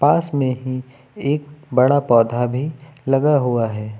पास में ही एक बड़ा पौधा भी लगा हुआ है।